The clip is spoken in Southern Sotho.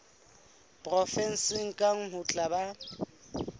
provenseng kang ho tla ba